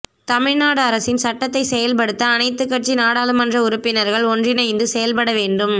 தமிழ்நாடு அரசின் சட்டத்தை செயல்படுத்த அனைத்துக் கட்சி நாடாளுமன்ற உறுப்பினர்கள் ஒன்றிணைந்து செயல்படவேண்டும்